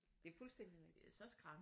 Det er fuldstændig rigtigt